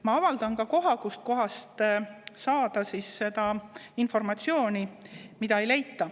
Ma avaldan ka koha, kust saada seda informatsiooni, mida ei leita.